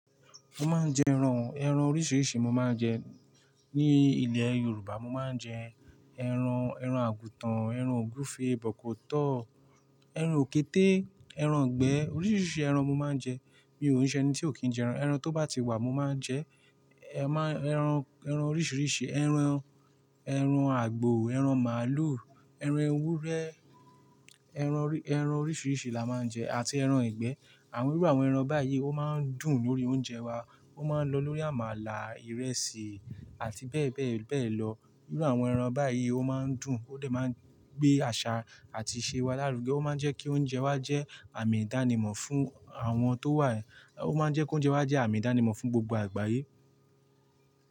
Mo máa ń jẹ ẹran, ẹran oríṣiríṣi mo máa ń jẹ. Ni ilẹ̀ Yorùbá mo máa ń jẹ ẹran, ẹran àgùtàn, ẹran ògúfe, bọ̀kọ̀tọ́, ẹran òkété, ẹran ìgbẹ́ oríṣiríṣi ẹran mo máa ń jẹ. Mi ò ní jẹ́ ẹni tí ò kí ń jẹ ẹran. Ẹran tó bá ti wà mo máa ń jẹ ẹ máa-- ẹran, ẹran oríṣiríṣi, ẹran, ẹran àgbò, ẹran màálù, ẹran ewúrẹ́, ẹran orí-- ẹran oríṣiríṣi la máa ń jẹ àti ẹran ìgbẹ́. Àwọn ríru àwọn ẹran báyìí ó máa ń dùn lórí oúnjẹ wa, ó máa ń lọ lórí àmàlà, ìrẹsì àti bẹ́ẹ̀ bẹ́ẹ̀ bẹ́ẹ̀ lọ. Íru àwọn ẹran báyìí ó máa ń dùn ó lè máa ń gbé àṣà àti ìṣe wa lárugẹ. Ó máa ń jẹ́ kí oúnjẹ wa jẹ́ àmì ìdánimọ̀ fún àwọn tó wà. Ó máa ń jẹ́ kí oúnjẹ wa jẹ́ àmì ìdánimọ̀ fún gbogbo àgbáyé.